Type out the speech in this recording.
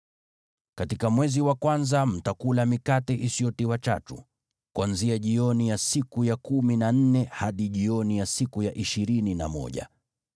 Katika mwezi wa kwanza mtakula mikate isiyotiwa chachu, kuanzia jioni ya siku ya kumi na nne hadi jioni ya siku ya ishirini na moja.